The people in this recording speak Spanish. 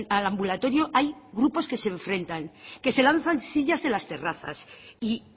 al ambulatorio hay grupos que se enfrentan que se lanzan sillas de las terrazas y